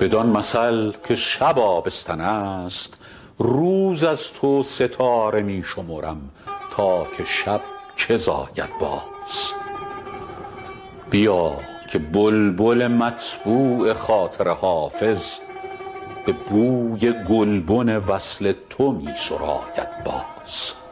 بدان مثل که شب آبستن است روز از تو ستاره می شمرم تا که شب چه زاید باز بیا که بلبل مطبوع خاطر حافظ به بوی گلبن وصل تو می سراید باز